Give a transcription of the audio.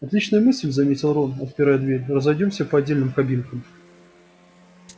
отличная мысль заметил рон отпирая дверь разойдёмся по отдельным кабинкам